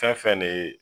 Fɛn fɛn ne ye